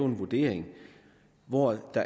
en vurdering hvoraf